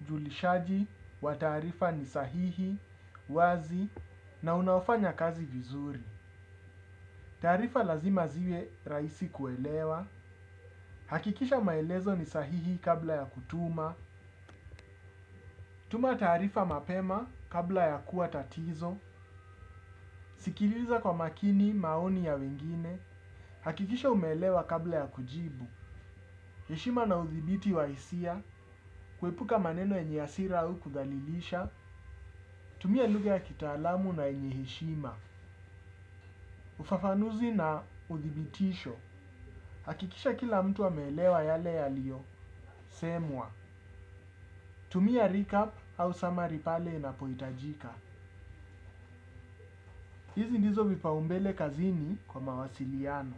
ujulishaji wa taarifa ni sahihi, wazi, na unaofanya kazi vizuri. Taarifa lazima ziwe rahisi kuelewa. Hakikisha maelezo ni sahihi kabla ya kutuma. Tuma taarifa mapema kabla ya kuwa tatizo. Sikiliza kwa makini maoni ya wengine. Hakikisha umeelewa kabla ya kujibu. Heshima na uthibiti wa hisia, kuepuka maneno yeny hasira au kudhalilisha, tumia lugha ya kitaalamu na yenye heshima. Ufafanuzi na uthibitisho, hakikisha kila mtu ameelewa yale yaliyosemwa. Tumia recap au summary pale inapohitajika. Hizi ndizo vipaumbele kazini kwa mawasiliano.